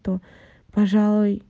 то пожалуй